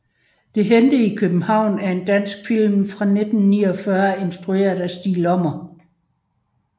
Det hændte i København er en dansk film fra 1949 instrueret af Stig Lommer